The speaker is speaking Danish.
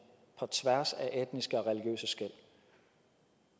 på tværs af etniske og religiøse skel